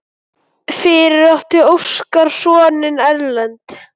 Fyrir átti Óskar soninn Erlend.